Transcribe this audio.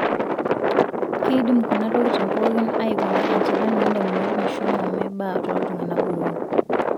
Keidim kuna tokitin pookin aikuna enchalan oondamunot meshomo meba tooltung'ana botorok.